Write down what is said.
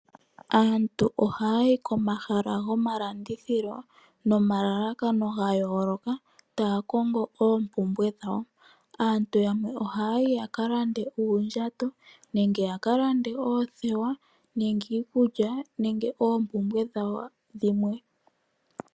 Qantu oha yayi komahala go malandithilo nomalalakano ga yooloka taya kongo oompungulilo dhawo . Aantu yamwe oha yayi ya kalande uundjato nenge ya kalande oothewa nenge iikulya nemge oompumbwe dhawo dhimwe